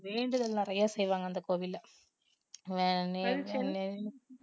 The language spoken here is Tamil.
வேண்டுதல் நிறைய செய்வாங்க அந்த கோவில்ல